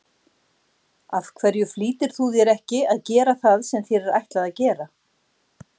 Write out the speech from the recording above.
Af hverju flýtir þú þér ekki að gera það sem þér er ætlað að gera?